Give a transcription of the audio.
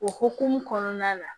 O hukumu kɔnɔna na